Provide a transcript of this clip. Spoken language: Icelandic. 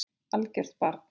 Algert barn.